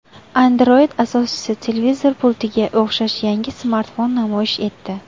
Android asoschisi televizor pultiga o‘xshash yangi smartfon namoyish etdi .